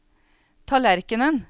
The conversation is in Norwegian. tallerkenen